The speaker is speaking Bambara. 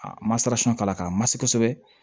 A ma sara k'a la k'a masi kosɛbɛ